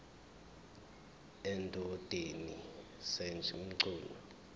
endodeni sj mchunu